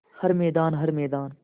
हर मैदान हर मैदान